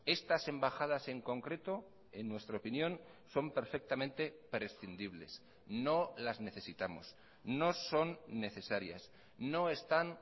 estas embajadas en concreto en nuestra opinión son perfectamente prescindibles no las necesitamos no son necesarias no están